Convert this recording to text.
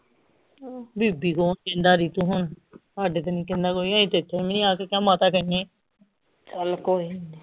ਬੀਬੀ ਕੌਣ ਕਹਿੰਦਾ ਹੁਣ ਹਾਡੇ ਤੇ ਨੀ ਕਹਿੰਦਾ ਕੋਈ ਅਹੀ ਤਾਂ ਇਥੇ ਵੀ ਆ ਕੇ ਕਿਆ ਮਾਤਾ ਕਹਿੰਨੇ ਆ ਚੱਲ ਕੋਇਨੀ